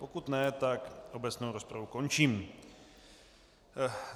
Pokud ne, tak obecnou rozpravu končím.